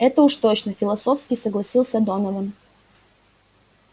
это уж точно философски согласился донован